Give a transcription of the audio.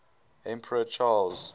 emperor charles